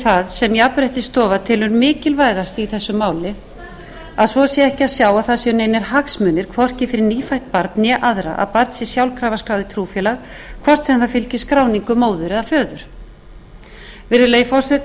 það sem jafnréttisstofa telur mikilvægast í þessu máli að svo sé ekki að sjá að það séu neinir hagsmunir hvorki fyrir nýfætt barn né aðra að barn sé sjálfkrafa skráð í trúfélag hvort sem það fylgir skráningu móður eða föður virðulegi forseti